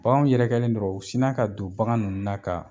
Baganw yɛrɛkɛlen dɔrɔn u sina ka don bagan nunnu na ka